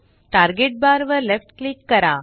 target bar वर left click करा